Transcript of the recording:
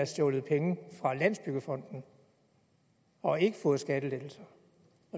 stjålet penge fra landsbyggefonden og har ikke fået skattelettelser